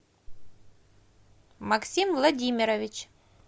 максим владимирович